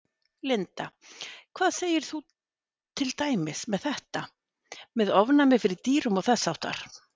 Linda: Hvað segir þú til dæmis með þetta, með ofnæmi fyrir dýrum og þess háttar?